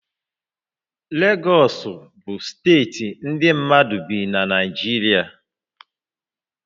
Legọs bụ steeti ndị mmadụ bi na Naịjirịa